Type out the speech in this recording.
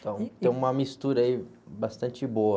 Então, tem uma mistura aí bastante boa.